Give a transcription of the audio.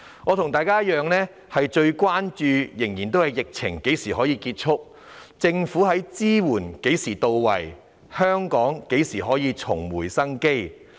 我與大家同樣關注疫情何時才能結束、政府的支援何時才會到位、香港何時才可重拾生機。